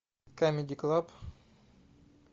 камеди клаб